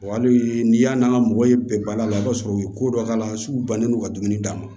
hali n'i y'a n'an ka mɔgɔ ye bɛɛ bali la i b'a sɔrɔ u ye ko dɔ k'a la su bannen don ka dumuni d'a ma